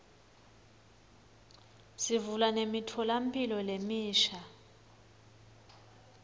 sivula nemitfolamphilo lemisha